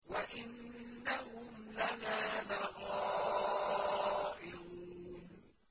وَإِنَّهُمْ لَنَا لَغَائِظُونَ